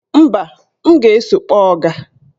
Mba, m ga-eso kpọọ ọga.